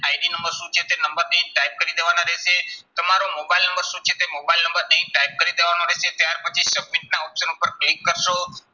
ID number શું છે તે નંબરને type કરી દેવાના રહેશે. તમારો મોબાઈલ નંબર શું છે તે મોબાઈલ નંબર અહીં type કરી દેવાનો રહેશે. ત્યાર પછી submit ના option ઉપર click કરશો,